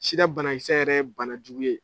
Sida banakisɛ yɛrɛ ye banajugu ye.